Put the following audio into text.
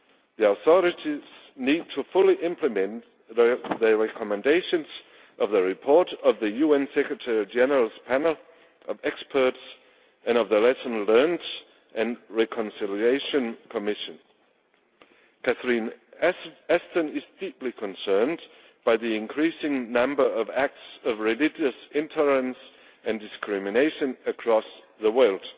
The authorities need to fully implement the recommendations of the report of the UN Secretary General's panel of experts and the lessons learnt, and of the reconciliation commission. Ms Ashton is deeply concerned by the increasing number of acts of religious intolerance and discrimination across the world.